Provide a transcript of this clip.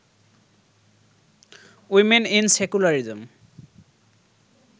women in secularism